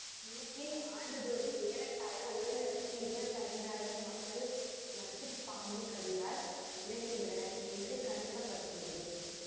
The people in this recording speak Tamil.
உலகில் ஆண்டுதோறும் ஏறத்தாழ ஒரு லட்சத்தி இருபத்தைந்து ஆயிரம் மக்கள் நச்சு பாம்புக்கடியால் இறக்கின்றனர் என்று கணிக்க பட்டுள்ளது